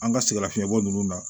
An ka sɛgɛnnafiɲɛbɔ ninnu na